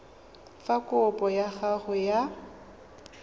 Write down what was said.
fa kopo ya gago ya